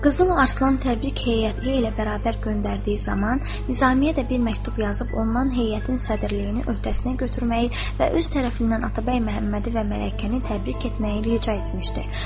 Qızıl Arslan təbrik heyəti ilə bərabər göndərdiyi zaman Nizamiyə də bir məktub yazıb ondan heyətin sədrliyini öhdəsinə götürməyi və öz tərəfindən Atabəy Məhəmmədi və mələkəni təbrik etməyi rica etmişdi.